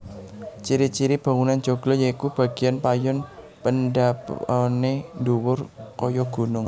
Ciri ciri bangunan joglo yaiku bagéan payon pendhapané dhuwur kaya gunung